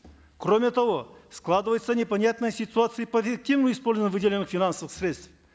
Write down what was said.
кроме того складывается непонятная ситуация по эффективному использованию выделенных финансовых средств